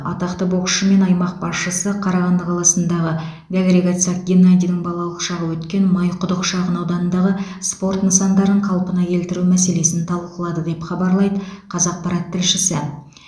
атақты боксшы мен аймақ басшысы қарағанды қаласындағы дәлірек айтсақ геннадийдің балалық шағы өткен майқұдық шағынауданындағы спорт нысандарын қалпына келтіру мәселесін талқылады деп хабарлайды қазақпарат тілшісі